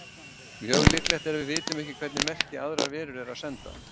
Mjög líklegt er að við vitum ekki hvernig merki aðrar verur eru að senda.